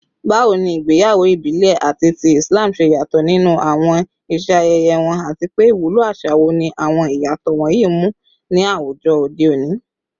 Bawo ni igbeyawo ibile ati ti Islam ṣe yato ninu awọn iṣe ayẹyẹ wọn, ati pe iwulo aṣa wo ni awọn iyatọ wọnyi mu ni awujọ ode oni?